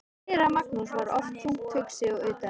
Séra Magnús var oft þungt hugsi og utan við sig.